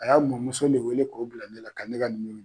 A y'a mɔmuso le wele k'o bila ne la ka ne ka numoro